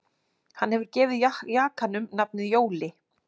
Hann hefur gefið jakanum nafnið Jóli